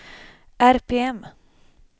RPM